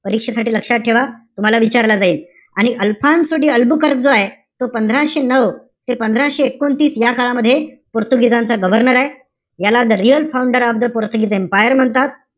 परिक्षजेसाठी लक्षात ठेवा. तूम्हाला विचारला जाईल. आणि अल्फान्सो डी अल्बुकर्क आहे. तो पंधराशे नऊ ते पंधराशे एकोणतीस, या काळामध्ये पोर्तुगिजांचा governor आहे. याला the real founder of portugese empire म्हणतात.